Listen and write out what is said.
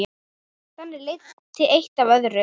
Þannig leiddi eitt af öðru.